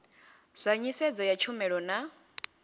zwa nḓisedzo ya tshumelo na